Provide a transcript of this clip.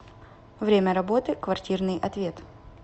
время работы квартирный ответ